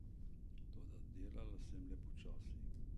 Toda delala sem le počasi.